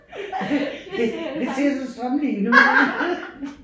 Det det det ser så strømlignet ud ikke